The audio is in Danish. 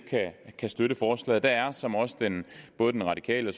kan støtte forslaget der er som også både den radikale